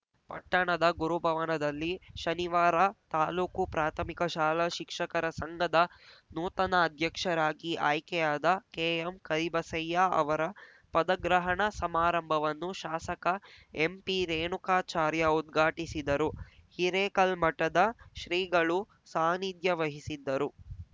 ಪಟ್ಟಣದ ಗುರುಭವನದಲ್ಲಿ ಶನಿವಾರ ತಾಲೂಕು ಪ್ರಾಥಮಿಕ ಶಾಲಾ ಶಿಕ್ಷಕರ ಸಂಘದ ನೂತನ ಅಧ್ಯಕ್ಷರಾಗಿ ಆಯ್ಕೆಯಾದ ಕೆಎಂಕರಿಬಸಯ್ಯ ಅವರ ಪದಗ್ರಹಣ ಸಮಾರಂಭವನ್ನು ಶಾಸಕ ಎಂಪಿರೇಣುಕಾಚಾರ್ಯ ಉದ್ಘಾಟಿಸಿದರು ಹಿರೇಕಲ್ಮಠದ ಶ್ರಿಗಳು ಸಾನ್ನಿಧ್ಯ ವಹಿಸಿದ್ದರು